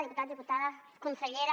diputats diputades consellera